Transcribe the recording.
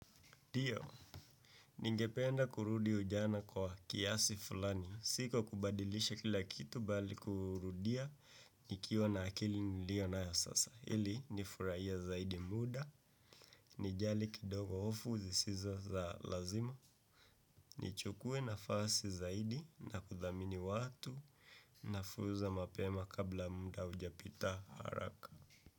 Ndio, ningependa kurudi ujana kwa kiasi fulani. Si kwa kubadilisha kila kitu bali kurudia. Nikiwa na akili nilionayo sasa ili, nifurahie zaidi muda. Nijali kidogo hofu zisizo za lazima. Nichukue nafasi zaidi na kuthamini watu. Na fursa mapema kabla muda haujapita haraka.